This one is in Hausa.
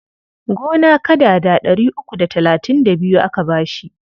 Gona kadada ɗari uku da talatin da biyu aka ba shi.